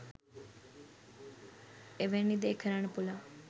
එවැනි දේ කරන්න පුළුවන්